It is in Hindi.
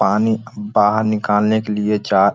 पानी बाहर निकालने के लिए चार --